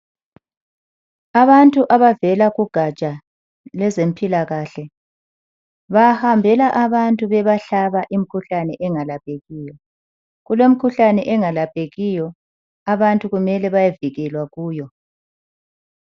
Abantu abavela kugatsha lwezempilakahle bahambela abantu bebahlaba imkhuhlane engalaphekiyo kulemikhuhlane engalaphekiyo abantu kumele bayevikelwa kuyo..